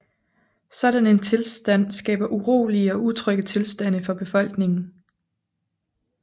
Sådan en tilstand skaber urolige og utrygge tilstande for befolkningen